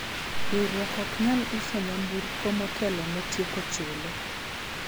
riwruok ok nyal uso nyamburko motelo ne tieko chule